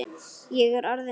Ég er orðinn þjófur.